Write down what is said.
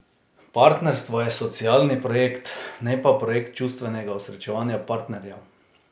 Partnerstvo je socialni projekt, ne pa projekt čustvenega osrečevanja partnerjev.